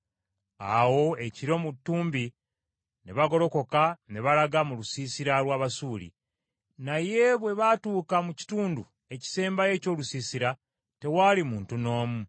Awo ekiro mu ttumbi ne bagolokoka ne balaga mu lusiisira lw’Abasuuli. Naye bwe baatuuka mu kitundu ekisembayo eky’olusiisira, tewaali muntu n’omu.